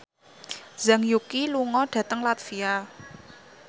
Zhang Yuqi lunga dhateng latvia